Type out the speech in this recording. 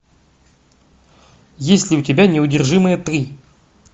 есть ли у тебя неудержимые три